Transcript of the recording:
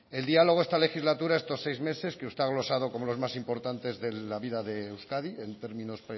el diálogo esta legislatura estos seis meses que usted ha engrosado como los más importantes de la vida de euskadi en términos